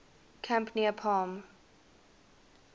camp near palm